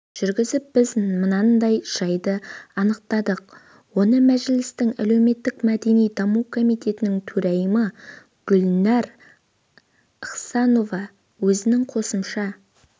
жүріп біз мынандай жайды анықтадық оны мәжілістің әлеуметтік-мәдени даму комитетінің төрайымы гүлнәр ықсанова өзінің қосымша